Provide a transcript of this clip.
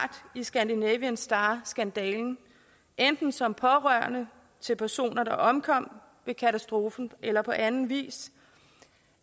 i scandinavian star skandalen enten som pårørende til personer der omkom ved katastrofen eller på anden vis